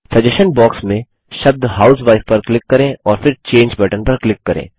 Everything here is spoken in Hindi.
सजेशन बॉक्स में शब्द हाउसवाइफ पर क्लिक करें और फिर चंगे बटन पर क्लिक करें